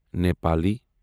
Nepali